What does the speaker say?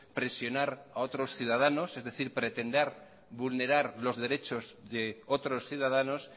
presionar a otros ciudadanos es decir pretender vulnerar los derechos de otros ciudadanos